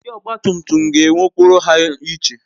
Ndi ogba tum tum ga ewe okporo ha iche